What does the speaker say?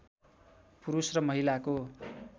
पुरुष र महिलाको